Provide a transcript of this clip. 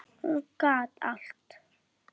Hún gat allt.